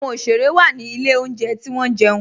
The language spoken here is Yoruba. Awọn oṣere wa ni ilẹ̀ ọ̀njẹ̀ ti wọn jẹun